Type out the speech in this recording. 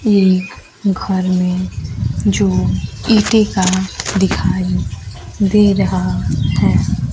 ये एक घर में जो ईंटें का दिखाई दे रहा है।